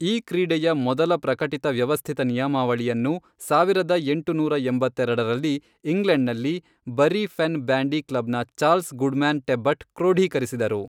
ಈ ಕ್ರೀಡೆಯ ಮೊದಲ ಪ್ರಕಟಿತ ವ್ಯವಸ್ಥಿತ ನಿಯಮಾವಳಿಯನ್ನು ಸಾವಿರದ ಎಂಟುನೂರ ಎಂಬತ್ತೆರೆಡರಲ್ಲಿ, ಇಂಗ್ಲೆಂಡ್ನಲ್ಲಿ, ಬರಿ ಫೆನ್ ಬ್ಯಾಂಡಿ ಕ್ಲಬ್ನ ಚಾರ್ಲ್ಸ್ ಗುಡ್ಮ್ಯಾನ್ ಟೆಬ್ಬಟ್ ಕ್ರೋಡೀಕರಿಸಿದರು.